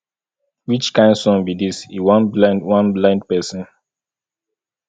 which kin sun be dis e wan blind wan blind person